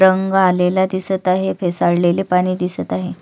तरंग आलेला दिसत आहे फेसाळलेले पाणी दिसत आहे.